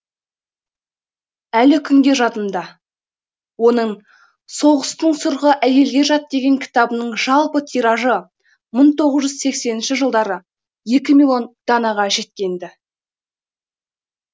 әлі күнге жадымда оның соғыстың сұрқы әйелге жат деген кітабының жалпы тиражы мың тоғыз жүз сексенінші жылдары екі миллион данаға жеткен ді